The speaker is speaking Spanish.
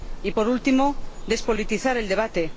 Y, por último, despolitizar el debate.